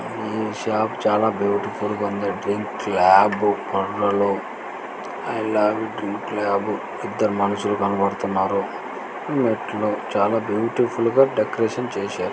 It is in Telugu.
ఈ షాప్ చాలా బ్యూటిఫుల్ గా ఉంది డ్రింక్ ల్యాబ్ లో ఐ లవ్ డ్రింక్ ల్యాబ్ ఇద్దరు మనుషులు కనపడుతున్నారు మెట్లు చాలా బ్యూటిఫుల్ గా డెకరేషన్ చేశారు.